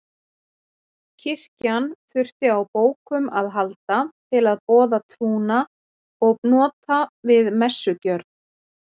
Kirkjan þurfti á bókum að halda til að boða trúna og nota við messugjörð.